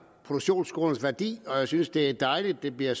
produktionsskolernes værdi og jeg synes at det er dejligt at det bliver